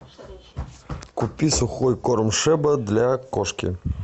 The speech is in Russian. купи сухой корм шеба для кошки